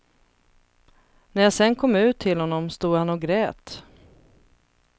När jag sedan kom ut till honom stod han och grät.